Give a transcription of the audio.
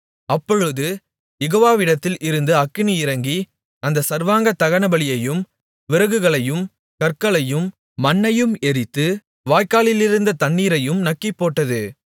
அப்பொழுது யெகோவாவிடத்தில் இருந்து அக்கினி இறங்கி அந்தச் சர்வாங்க தகனபலியையும் விறகுகளையும் கற்களையும் மண்ணையும் எரித்து வாய்க்காலிலிருந்த தண்ணீரையும் நக்கிப்போட்டது